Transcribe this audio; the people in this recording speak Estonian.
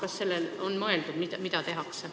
Kas sellele on mõeldud?